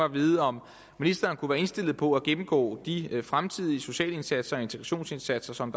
at vide om ministeren kunne være indstillet på at gennemgå de fremtidige sociale indsatser og integrationsindsatser som